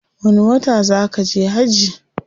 Wani wata zaa kaje hajji?